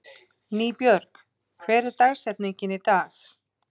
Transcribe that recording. Nýbjörg, hver er dagsetningin í dag?